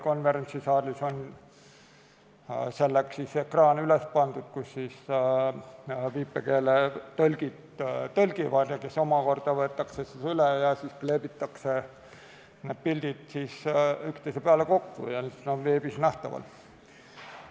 Konverentsisaalis on ekraan üles pandud, viipekeeletõlgid tõlgivad, see omakorda võetakse üles, need pildid kleebitakse üksteise peale kokku ja siis on need veebis nähtavad.